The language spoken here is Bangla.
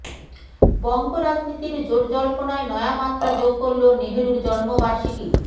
বঙ্গ রাজনীতির জোট জল্পনায় নয়া মাত্রা যোগ করল নেহরুর জন্মবার্ষিকী